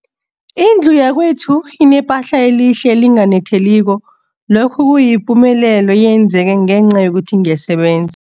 Indlu yakwethu inephahla elihle, elinganetheliko, lokhu kuyipumelelo eyenzeke ngenca yokuthi ngiyaseben